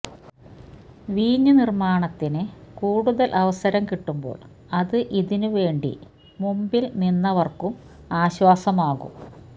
വീഞ്ഞ് നിർമ്മാണത്തിന് കൂടുതൽ അവസരം കിട്ടുമ്പോൾ അത് ഇതിന് വേണ്ടി മുമ്പിൽ നിന്നവർക്കും ആശ്വാസമാകും